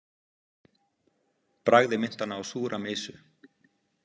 Bragðið minnti hana á súra mysu.